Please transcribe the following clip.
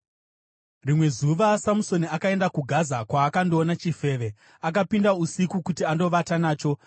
Rimwe zuva Samusoni akaenda kuGaza, kwaakandoona chifeve. Akapinda usiku kuti andovata nacho.